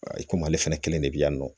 I komi ale fɛnɛ de be yan nɔ